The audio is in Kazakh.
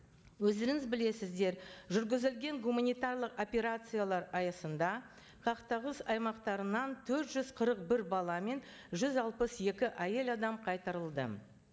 өздеріңіз білесіздер жүргізілген гуманитарлық операциялар аясында қақтығыс аймақтарынан төрт жүз қырық бір бала мен жүз алпыс екі әйел адам қайтарылды